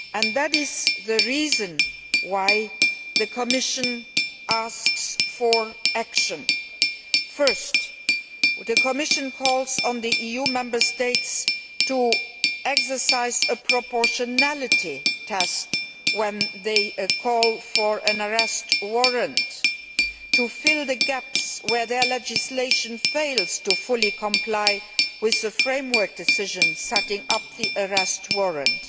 That is the reason why the Commission asks for action. First, the Commission calls on the EU Member States to exercise a proportionality test when they call for an Arrest Warrant, and to fill the gaps where their legislation fails to fully comply with the framework decision setting up the Arrest Warrant.